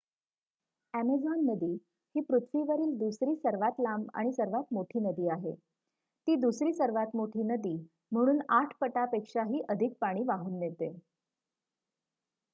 Amazon नदी ही पृथ्वीवरील दुसरी सर्वात लांब आणि सर्वात मोठी नदी आहे. ती दुसरी सर्वात मोठी नदी म्हणून ८ पटापेक्षाही अधिक पाणी वाहून नेते